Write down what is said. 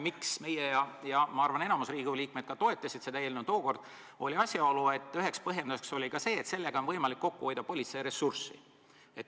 Põhjus, miks meie toetasime ja ma arvan, et enamus Riigikogu liikmeid toetas seda eelnõu tookord, oli see, et sellega on võimalik kokku hoida politseiressurssi.